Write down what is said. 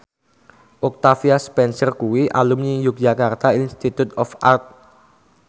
Octavia Spencer kuwi alumni Yogyakarta Institute of Art